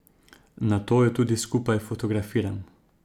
Nato ju tudi skupaj fotografiram.